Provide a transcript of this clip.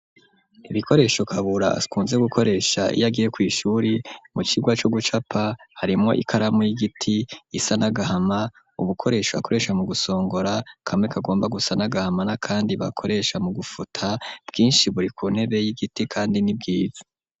Ibikoresho Kabura akunze gukoresha, iyo agiye kw'ishuri, mu cigwa co gucapa; harimwo ikaramu y'igiti isa n'agahama, ubukoresho akoresha mu gusongora, kamwe kagomba gusa n'agahama, n'akandi bakoresha mu gufuta, bwinshi buri ku ntebe y'igiti, kandi ni bwiza.